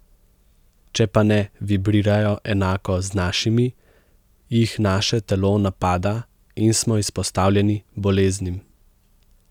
Če pa ne vibrirajo enako z našimi, jih naše telo napada in smo izpostavljeni boleznim.